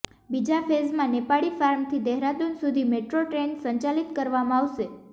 બીજા ફેઝમાં નેપાળી ફાર્મથી દેહરાદુન સુધી મેટ્રો ટ્રેન સંચાલિત કરવામાં આવશે